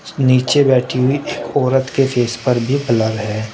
नीचे बैठी हुई औरत के फेस पर भी ब्लर है।